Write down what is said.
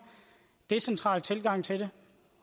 decentral tilgang til det